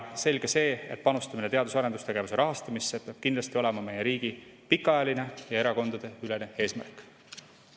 Selge see, et panustamine teadus- ja arendustegevuse rahastamisse peab kindlasti olema meie riigi pikaajaline ja erakondadeülene eesmärk.